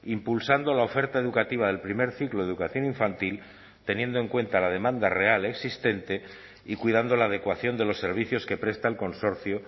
impulsando la oferta educativa del primer ciclo de educación infantil teniendo en cuenta la demanda real existente y cuidando la adecuación de los servicios que presta el consorcio